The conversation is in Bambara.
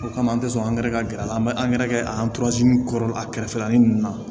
O kama an tɛ sɔn angɛrɛ gɛrɛ a la an bɛ angɛrɛ kɛ an kɔrɔ a kɛrɛfɛla nin na